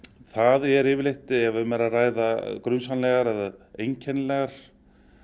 það er yfirleitt ef um er að ræða grunsamlegar eða einkennilegar